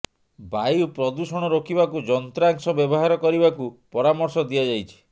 ବାୟୁ ପ୍ରଦୂଷଣ ରୋକିବାକୁ ଯନ୍ତ୍ରାଂଶ ବ୍ୟବହାର କରିବାକୁ ପରାମର୍ଶ ଦିଆଯାଇଛି